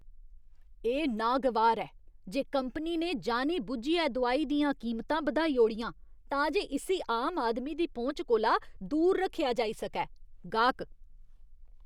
एह् विकर्शनकारी ऐ जे कंपनी ने जानी बुज्झियै दोआई दियां कीमतां बधाई ओड़ियां तां जे इस्सी आम आदमी दी पहुंच कोला दूर रक्खेआ जाई सकै। गाह्क